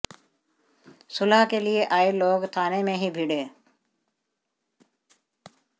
सुलह के लिए आए लोग थाने में ही भिड़े